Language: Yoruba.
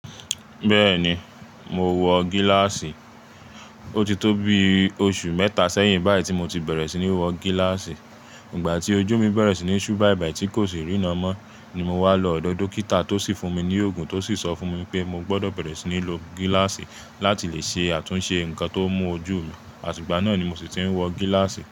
Bẹ́ẹ̀ni, mo wọ gíláàsì. O ti tó bi oṣù mẹ́ta sẹ́yìn báyìí tí mo ti bẹ̀rẹ̀ sí ní wọ gíláàsì. Ìgbà tí ojú mi bẹ̀rẹ̀ sí ní ṣú báibài tí kò sì rína mọ́ ni mo wá lọ ọ̀dọ̀ dókítà tó sì fún mi ní òògùn tó sì sọ fún mi pé mo gbọdọ̀ bẹ̀rẹ̀ sí ní lo gíláàsì láti le ṣe àtúnṣe nǹkan tó mú ojú mi. Àti igbà náà ni mo sì ti ń wọ gíláàsì.